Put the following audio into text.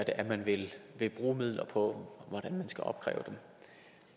er man vil vil bruge midler på og hvordan man skal opkræve dem